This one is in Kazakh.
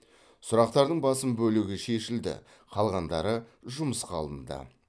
сұрақтардың басым бөлігі шешілді қалғандары жұмысқа алынды